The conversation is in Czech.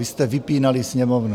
Vy jste vypínali Sněmovnu.